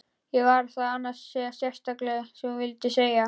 Var það annars eitthvað sérstakt sem þú vildir segja?